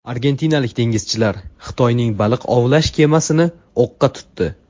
Argentinalik dengizchilar Xitoyning baliq ovlash kemasini o‘qqa tutdi.